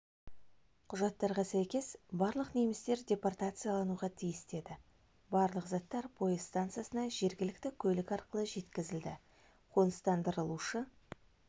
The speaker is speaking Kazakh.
құжаттарға сәйкес барлық немістер депортациялануға тиісті еді барлық заттар пойыз станциясына жергілікті көлік арқылы жеткізілді қоныстандырылушы